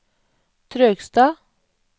Trøgstad